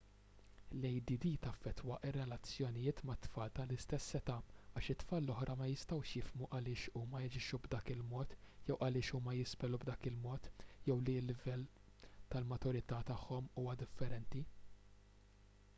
l-add taffettwa r-relazzjonijiet mat-tfal tal-istess età għax it-tfal l-oħra ma jistgħux jifhmu għaliex huma jaġixxu b'dak il-mod jew għaliex huma jispellu b'dak il-mod jew li l-livell tal-maturità tagħhom huwa differenti